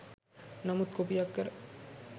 නමුත් කොපියක් කර